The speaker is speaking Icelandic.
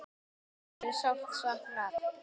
Ykkar er sárt saknað.